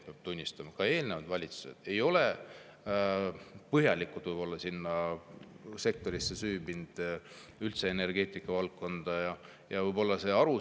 Peab tunnistama, et ka eelnevad valitsused ei ole võib-olla sellesse sektorisse, üldse energeetikavaldkonda põhjalikult süüvinud.